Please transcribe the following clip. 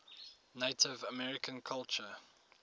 native american culture